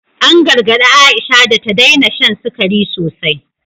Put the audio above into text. An gargadi Aisha da ta daina shan sikari sosai.